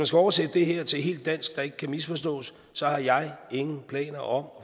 skal oversætte det her til dansk så det ikke kan misforstås så har jeg ingen planer om